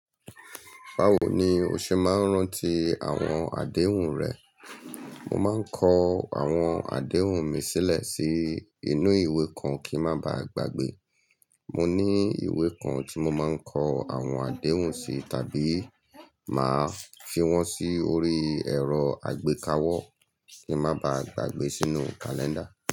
Báwo ni o ṣe máa ń rántí àwọn àdéhùn rẹ? Mo máa ń kọ àwọn àdéhùn mi sílẹ̀ sí inú ìwé kan kí ń má ba à gbàgbé. Mo ní ìwé kan tí mo máa ń kọ àwọn àdéhùn sí tàbí máa fi wọ́n sí orí ẹ̀rọ àgbékawọ kí ń má ba à gbàgbé sínú kàlẹ́ńdà.